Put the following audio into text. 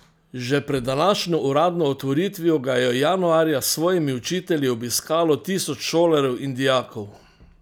Že pred današnjo uradno otvoritvijo ga je januarja s svojimi učitelji obiskalo tisoč šolarjev in dijakov.